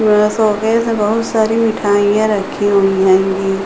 यहाँ शोकेस में बोहोत सारी मिठाइयां रखी हुई हेंगी।